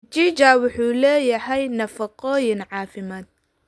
Mchicha wuxuu leeyahay nafaqooyin caafimaad.